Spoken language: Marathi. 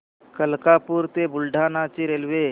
मलकापूर ते बुलढाणा ची रेल्वे